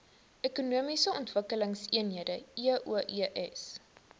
ekonomiese ontwikkelingseenhede eoes